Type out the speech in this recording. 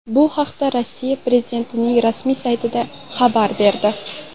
Bu haqda Rossiya prezidentining rasmiy sayti xabar berdi .